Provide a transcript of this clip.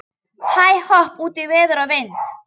Hæ-hopp út í veður og vind.